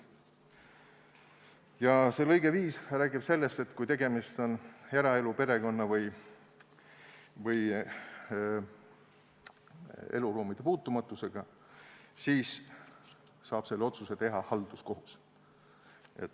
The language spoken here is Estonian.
" Ja see lõige 5 räägib sellest, et kui tegemist on eraelu, perekonna või eluruumide puutumatusega, siis saab selle otsuse teha halduskohus.